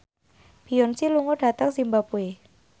Beyonce lunga dhateng zimbabwe